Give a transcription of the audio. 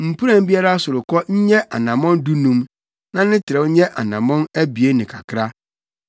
Mpuran biara sorokɔ nyɛ anammɔn dunum na ne trɛw nyɛ anammɔn abien ne kakra,